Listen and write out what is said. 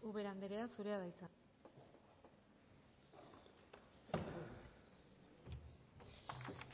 ubera andrea zurea da hitza